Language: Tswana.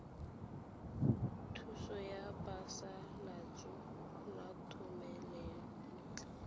thuso ya phasalatso ya thomelontle